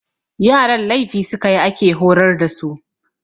Yaran laifi su ka yi ake horar da su.